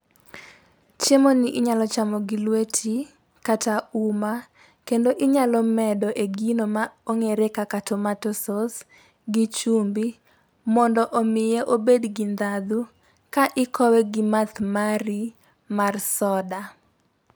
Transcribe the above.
Chiemo ni inyalo chamo gi lweti kata uma kendo inyalo medo e gi no ma ong'ere kaka tomato sauce gi chumbi mondo omiye obed gi ndhadhu ka ikowe gi math mari mar soda.